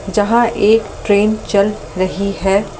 जहाँ एक ट्रेन चल रही है।